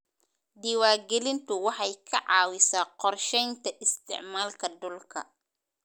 Diiwaangelintu waxay ka caawisaa qorshaynta isticmaalka dhulka.